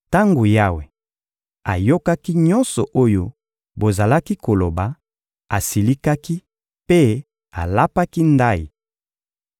Tango Yawe ayokaki nyonso oyo bozalaki koloba, asilikaki mpe alapaki ndayi: